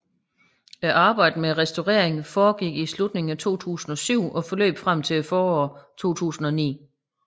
Arbejdet med at restaureringen foregik i slutning af 2007 og forløb frem til foråret 2009